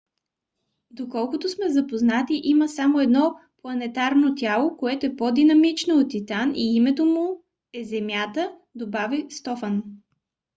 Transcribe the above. доколкото сме запознати има само едно планетарно тяло което е по-динамично от титан и името му е земята, добави стофан